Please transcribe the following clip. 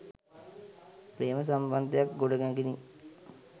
ප්‍රේම සම්බන්ධයක්‌ ගොඩනැගිනි.